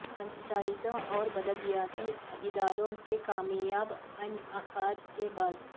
پنچایتوں اور بلدیاتی اداروں کے کامیاب انعقاد کے بعد